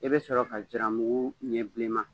I bɛ sɔrɔ ka jalamugu ɲɛ bileman